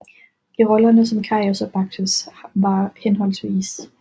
I rollerne som Karius og Baktus var hhv